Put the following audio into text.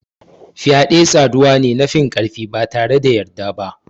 Fyade saduwa ne na finkarfi batare da yarda ba.